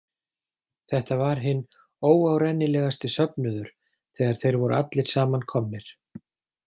Þetta var hinn óárennilegasti söfnuður þegar þeir voru allir saman komnir.